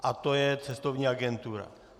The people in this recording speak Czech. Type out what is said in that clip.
A to je cestovní agentura.